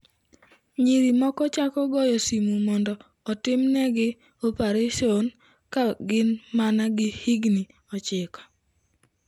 Nyiri moko chako goyo simu mondo otimnegi opareson ka gin mana gi higni 9.